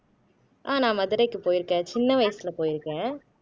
ஆஹ் நான் மதுரைக்கு போயிருக்கேன் சின்ன வயசுல போயிருக்கேன்